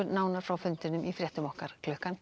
nánar frá fundinum í fréttum okkar klukkan